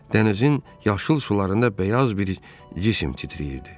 Dənizin yaşıl sularında bəyaz bir cisim titrəyirdi.